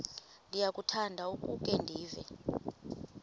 ndiyakuthanda ukukhe ndive